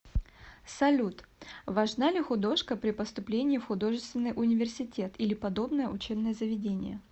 салют важна ли художка при поступлении в художественный университет или подобное учебное заведение